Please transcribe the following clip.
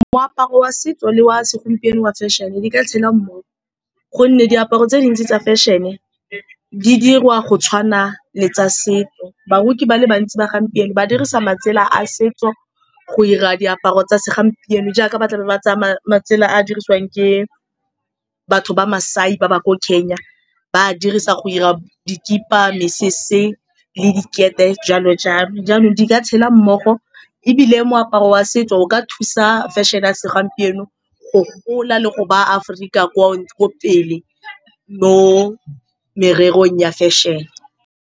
Moaparo wa setso le wa segompieno wa fashion-e di ka tshela, ka gonne diaparo tse dintsi tsa fashion-e di diriwa go tshwana le tsa setso. Baruki ba le bantsi ba gompieno ba dirisa matsela a setso go 'ira diaparo tsa segompieno jaaka ba tlabe ba tsamaya. Matsela a a dirisiwang ke batho ba Masai ba ba ko Kenya, ba a dirisa go 'ira dikipa, mesese le dikete, jalo-jalo. Jaanong di ka tshela mmogo, ebile moaparo wa setso o ka thusa version a segompieno go gola le go baya Aforika ko pele mo mererong ya fashion-e.